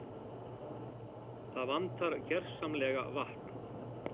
Það vantar gersamlega vatn